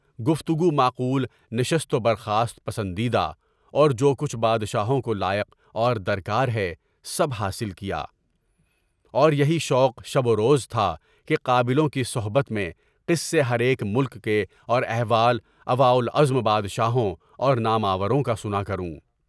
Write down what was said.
گفتگو معقول نشست و برخاست، پسندیدہ مدہ اور جو کچھ یبادشاہوں کو لاحق اور درکار ہے سب حاصل کیا، اور یہی شوق شب و روز تھا کہ قابلوں کی صحبت میں قصے، ہر ایک ملک کے اور احوال اولوالعزم بادشاہوں اور نام آوروں کا سنا کروں۔